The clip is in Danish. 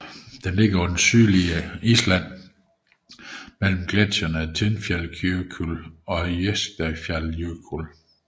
Den ligger på det sydlige Island mellem gletsjerne Tindfjallajökull og Eyjafjallajökull